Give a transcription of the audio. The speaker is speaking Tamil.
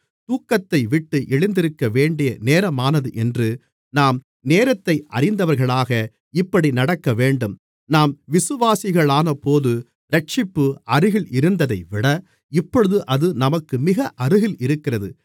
தூக்கத்தைவிட்டு எழுந்திருக்க வேண்டிய நேரமானது என்று நாம் நேரத்தை அறிந்தவர்களாக இப்படி நடக்கவேண்டும் நாம் விசுவாசிகளானபோது இரட்சிப்பு அருகில் இருந்ததைவிட இப்பொழுது அது நமக்கு மிக அருகில் இருக்கிறது